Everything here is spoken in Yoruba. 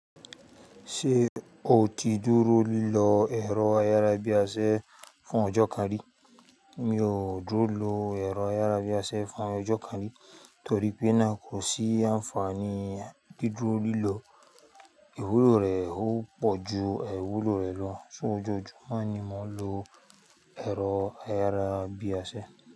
Ṣé o ti dúró lọ ẹ̀rọ ayárabíàṣẹ fún ọjọ́ karí? Mi ò dúró lọ ẹ̀rọ ayárabíàṣẹ fún ọjọ́ karí torí pé náà kò sí àǹfààní. Dídúró lílọ, ìwúlò rẹ̀ ó pọ̀ ju aìwúlò rẹ̀ lọ, ṣóòjọjúmọ́ ni mò ń lo ẹ̀rọ ayárabíàṣẹ.